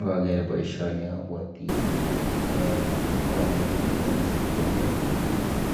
Ngaker boisioni abwoti eh walet nekiwole chepkondok